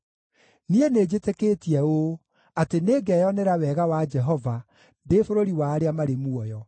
Niĩ nĩnjĩtĩkĩtie ũũ: atĩ nĩngeyonera wega wa Jehova ndĩ bũrũri wa arĩa marĩ muoyo.